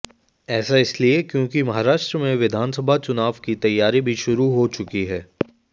ऐसा इसलिए क्योंकि महाराष्ट्र में विधानसभा चुनाव की तैयारी भी शुरू हो चुकी है